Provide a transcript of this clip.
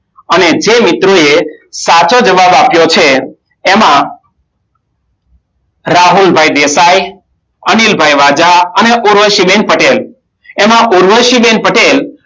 અને જે મિત્રોએ સાચો જવાબ આપ્યો છે એમાં રાહુલભાઈ દેસાઈ, અનિલભાઈ વાજા અને ઉર્વશીબેન પટેલ એમાં ઉર્વશીબેન પટેલ